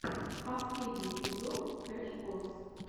последний эпизод крэш кос